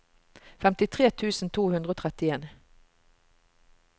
femtitre tusen to hundre og trettien